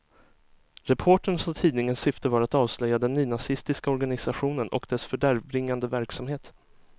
Reporterns och tidningens syfte var att avslöja den nynazistiska organisationen och dess fördärvbringande verksamhet.